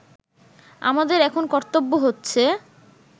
আমাদের এখন কর্তব্য হচ্ছে